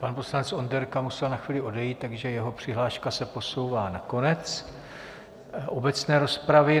Pan poslanec Onderka musel na chvíli odejít, takže jeho přihláška se posouvá na konec obecné rozpravy.